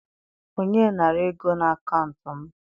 onye nara ego n'akaụntụ m?